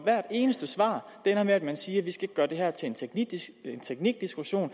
hvert eneste svar ender med at man siger at vi ikke skal gøre det her til en teknikdiskussion og